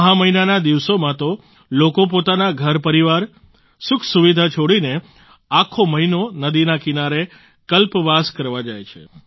મહા મહિનાના દિવસોમાં તો લોકો પોતાના ઘરપરિવાર સુખસુવિધા છોડીને આખો મહિનો નદીના કિનારે કલ્પવાસ કરવા જાય છે